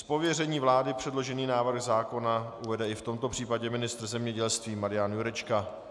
Z pověření vlády předložený návrh zákona uvede i v tomto případě ministr zemědělství Marian Jurečka.